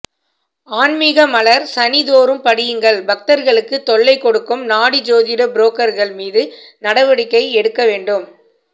ஆன்மிக மலர் சனிதோறும் படியுங்கள் பக்தர்களுக்கு தொல்லை கொடுக்கும் நாடி ஜோதிட புரோக்கர்கள் மீது நடவடிக்கை எடுக்க வேண்டும்